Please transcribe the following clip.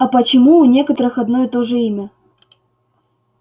а почему у некоторых одно и то же имя